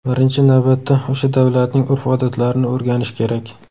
Birinchi navbatda o‘sha davlatning urf-odatlarini o‘rganish kerak.